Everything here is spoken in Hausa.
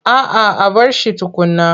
A'a a bar shi tukunna.